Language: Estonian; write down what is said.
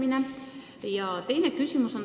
On ka teine küsimus.